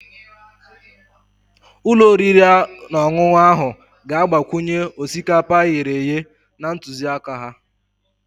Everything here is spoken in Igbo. Ụlọ oriri na ọṅụṅụ ahụ ga-agbakwunye osikapa e ghere eghe na ntụziaka ha